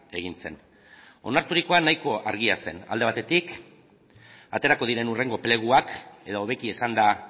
egin zen onarturikoa nahiko argia zen alde batetik aterako diren hurrengo pleguak edo hobeki esanda